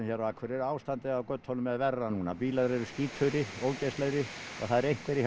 á Akureyri ástandið á götunum er verra núna bílar eru skítugri ógeðslegri og það eru einhverjir hjá